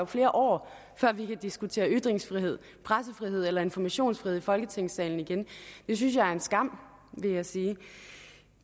flere år før vi kan diskutere ytringsfrihed pressefrihed eller informationsfrihed i folketingssalen igen det synes jeg er en skam vil jeg sige